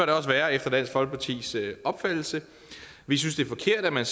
det også være efter dansk folkepartis opfattelse vi synes det er forkert at man